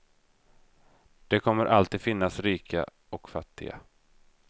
Det kommer alltid att finnas rika och fattiga.